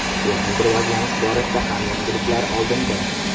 Texnik rivojlanish borasida ham yangiliklar oldinda.